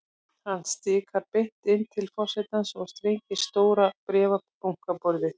Hann stikar beint inn til forsetans og slengir stórum bréfabunka á borðið.